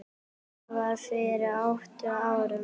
Það var fyrir átta árum.